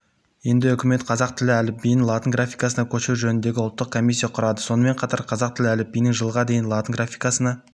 енді үкімет қазақ тілі әліпбиін латын графикасына көшіру жөніндегі ұлттық комиссия құрады сонымен қатар қазақ тілі әліпбиінің жылға дейін латын графикасына